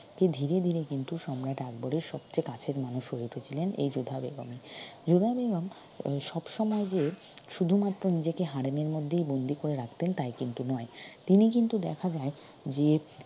যে িধীরে ধীরে কিন্তু সম্রাট আকবরের সবচে কাছের মানুষ হয়ে উঠেছিলেন এই যোধা বেগমই যোধা বেগম এর সব সময় যে শুধু মাত্র নিজেকে হারেমের মধ্যেই বন্দি করে রাখতেন তাই কিন্তু নয় তিনি কিন্তু দেখা যায় যে